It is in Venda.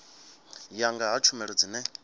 ya nga ha tshumelo dzine